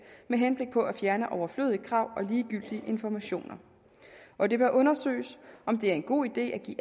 med henblik på at fjerne overflødige krav og ligegyldige informationer og det bør undersøges om det er en god idé at give